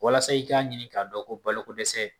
Walasa i ka ɲini k'a dɔn ko balokodɛsɛ.